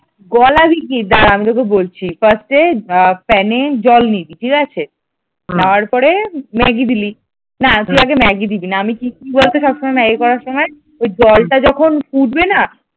গলাবি কি দাঁড়া আমি তোকে বলছি first প্যানে জল নিবি ঠিক আছে নেওয়ার পরে ম্যাগি দিলি না তুই আগে ম্যাগি দিবি না আমি কি করি বলতো সব সময় ম্যাগি করার সময় ওই জলটা যখন ফুটবে না?